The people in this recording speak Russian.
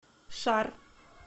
шар